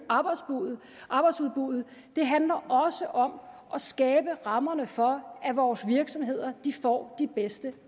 arbejdsudbuddet det handler også om at skabe rammerne for at vores virksomheder får de bedste